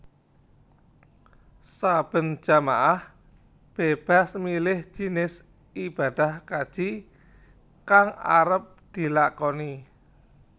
Saben jamaah bébas milih jinis ibadah kaji kang arep dilakoni